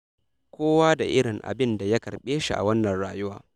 Kowa da irin abinda ya karɓe shi a wannan rayuwa.